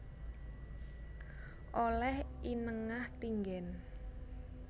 Oleh I Nengah Tinggen